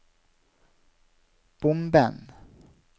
bomben